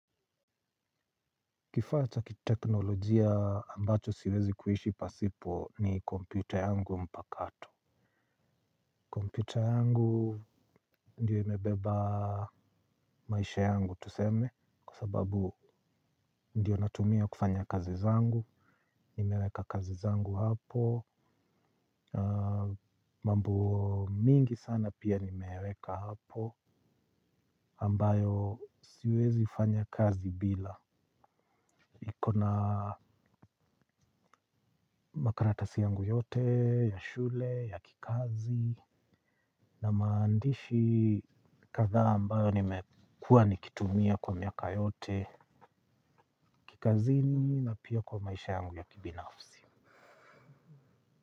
Kifaa cha kiteknolojia ambacho siwezi kuishi pasipo ni kompyuta yangu mpakato. Kompyuta yangu ndiyo imebeba maisha yangu tuseme kwa sababu ndiyo natumia kufanya kazi zangu. Nimeweka kazi zangu hapo. Mambo mingi sana pia nimeweka hapo ambayo siwezi fanya kazi bila. Niko na makaratasi yangu yote, ya shule, ya kikazi, na maandishi kadhaa ambayo nimekuwa nikitumia kwa miaka yote, kikazini na pia kwa maisha yangu ya kibinafsi.